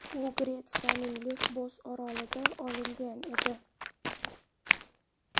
U Gretsiyaning Lesbos orolida olingan edi.